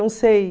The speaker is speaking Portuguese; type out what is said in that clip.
Não sei.